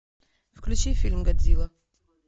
включи фильм годзилла